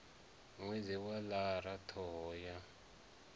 ṅwedzi wa lara ṱhoho ya